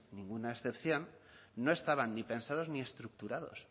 ninguna excepción no estaban ni pensados ni estructurados